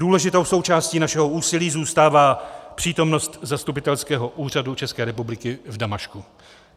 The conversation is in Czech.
Důležitou součástí našeho úsilí zůstává přítomnost zastupitelského úřadu České republiky v Damašku.